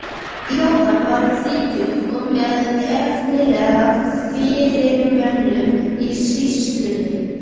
Jóhann var um þrítugt og með efnilegri fyrirmönnum í sýslunni.